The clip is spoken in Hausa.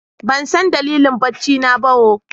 Ban san dalilin bacci na ba ooo.